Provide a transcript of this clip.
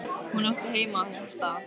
Hún átti heima á þessum stað.